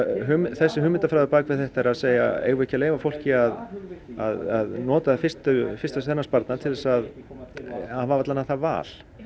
þessi hugmyndafræði á bak við þetta er að segja eigum við ekki leyfa fólki að að nota fyrsta fyrsta sparnað til að hafa allavega það val